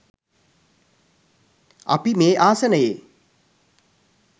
අපි මේ ආසනයේ